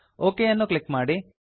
okay ಅನ್ನು click ಮಾಡಿ